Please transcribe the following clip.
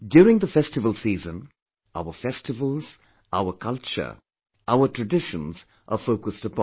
During the festival season, our festivals, our culture, our traditions are focused upon